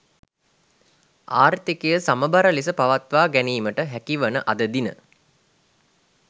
ආර්ථිකය සමබර ලෙස පවත්වා ගැනීමට හැකිවන අද දින